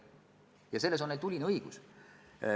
Ja selles on neil tuline õigus.